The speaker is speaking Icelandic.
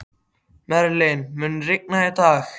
Merlin, mun rigna í dag?